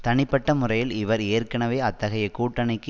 தனிப்பட்ட முறையில் இவர் ஏற்கனவே அத்தகைய கூட்டணிக்கு